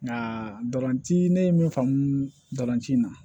Nka dolanci ne ye min faamuci in na